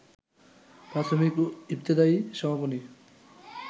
প্রাথমিক ও ইবতেদায়ী সমাপনী